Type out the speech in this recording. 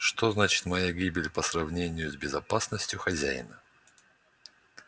что значит моя гибель по сравнению с безопасностью хозяина